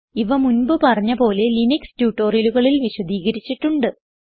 ഇവ മുൻപ് പറഞ്ഞ പോലെ ലിനക്സ് ട്യൂട്ടോറിയലുകളിൽ വിശദീകരിച്ചിട്ടുണ്ട്